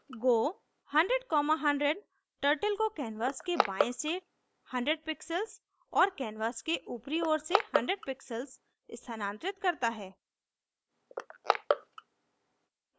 go 100100 turtle को canvas के बाएँ से 100 pixels और canvas के ऊपरी ओर से 100 pixels स्थानांतरित करता है